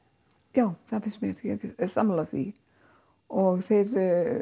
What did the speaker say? já það finnst mér ég er sammála því og þeir